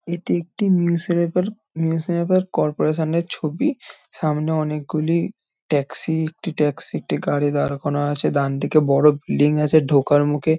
এটি একটি newspaper newspaper corporation -এর ছবি সামনে অনেকগুলি ট্যাক্সি একটি ট্যাক্সি টেকারে দাঁড় করা আছে ডানদিকে বড় বিল্ডিং আছে ঢোকার মুখে --